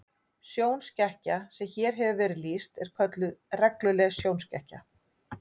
Sjónskekkja sem hér hefur verið lýst er kölluð regluleg sjónskekkja.